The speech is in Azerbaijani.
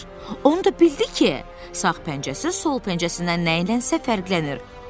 Onu da bildi ki, sağ pəncəsi sol pəncəsindən nədənsə fərqlənir.